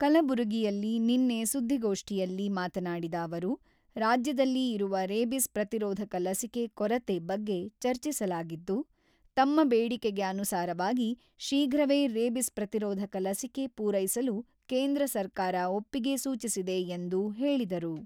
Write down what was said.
ಕಲಬುರಗಿಯಲ್ಲಿ ನಿನ್ನೆ ಸುದ್ದಿಗೋಷ್ಠಿಯಲ್ಲಿ ಮಾತನಾಡಿದ ಅವರು, ರಾಜ್ಯದಲ್ಲಿ ಇರುವ ರೇಬಿಸ್ ಪ್ರತಿರೋಧಕ ಲಸಿಕೆ ಕೊರತೆ ಬಗ್ಗೆ ಚರ್ಚಿಸಲಾಗಿದ್ದು, ತಮ್ಮ ಬೇಡಿಕೆಗೆ ಅನುಸಾರವಾಗಿ, ಶೀಘ್ರವೇ ರೇಬಿಸ್ ಪ್ರತಿರೋಧಕ ಲಸಿಕೆ ಪೂರೈಸಲು ಕೇಂದ್ರ ಸರ್ಕಾರ ಒಪ್ಪಿಗೆ ಸೂಚಿಸಿದೆ ಎಂದು ಹೇಳಿದರು.